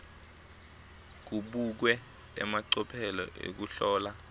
kubukwe emacophelo ekuhlola